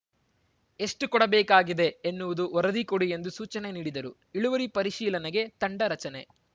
ಎಷ್ಟುಕೊಡಬೇಕಾಗಿದೆ ಎನ್ನುವುದು ವರದಿ ಕೊಡಿ ಎಂದು ಸೂಚನೆ ನೀಡಿದರು ಇಳುವರಿ ಪರಿಶೀಲನೆಗೆ ತಂಡ ರಚನೆ